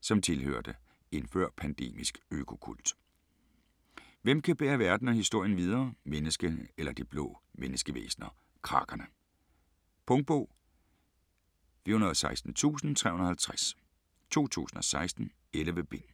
som tilhørte en før-pandemisk økokult. Hvem kan bære verden og historien videre - menneskene eller de blå menneskevæsner Crakerne? Punktbog 416350 2016. 11 bind.